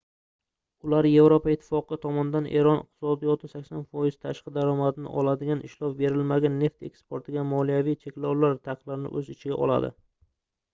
ular yevropa ittifoqi tomonidan eron iqtisodiyoti 80% tashqi daromadini oladigan ishlov berilmagan neft eksportiga moliyaviy cheklovlar va taqiqlarni oʻz ichiga oladi